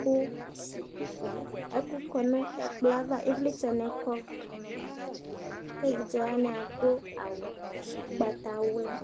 Ku ɛku kɔ nu ɛkplɔ yɛ ãvã Iwlitsɛ ni kɔ Ku evidze waní aɖu awu ugbatawlã